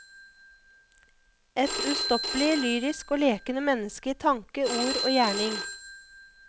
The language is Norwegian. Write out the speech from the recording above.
Et ustoppelig lyrisk og lekende menneske i tanke, ord og gjerning.